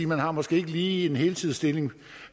man har måske ikke lige en heltidsstilling